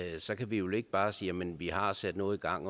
så kan vi vel ikke bare sige jamen vi har sat noget i gang